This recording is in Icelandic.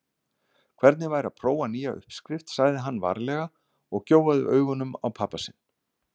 Hvernig væri að prófa nýja uppskrift sagði hann varlega og gjóaði augunum á pabba sinn.